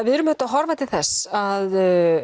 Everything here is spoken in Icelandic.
við erum auðvitað að horfa til þess að